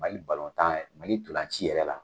Mali balontan, Mali ntolan ci ci yɛrɛ la